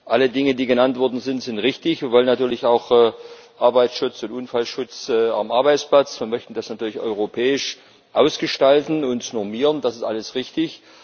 Alle Dinge, die genannt worden sind, sind richtig. Wir wollen natürlich auch Arbeitsschutz und Unfallschutz am Arbeitsplatz, wir möchten das natürlich europäisch ausgestalten und normieren das ist alles richtig.